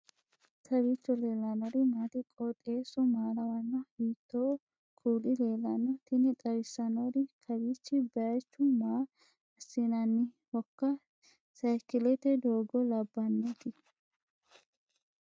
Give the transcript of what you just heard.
kowiicho leellannori maati ? qooxeessu maa lawaanno ? hiitoo kuuli leellanno ? tini xawissannori kawiichi bayichu maa assinannihoiika sayikilete doogo labbannoti .